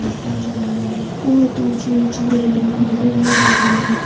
फिर है बहुत ऊंची-ऊंची बिल्डिंगे नजर आ रहे है।